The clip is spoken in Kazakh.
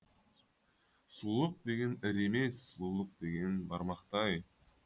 сұлулық деген ірі емес сұлулық деген бармақтай